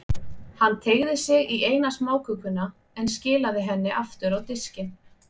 Hann teygði sig í eina smákökuna, en skilaði henni aftur á diskinn.